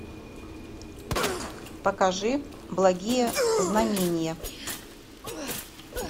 покажи благие знамения